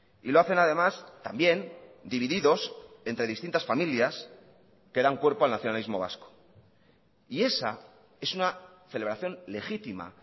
y lo hacen además también divididos entre distintas familias que dan cuerpo al nacionalismo vasco y esa es una celebración legítima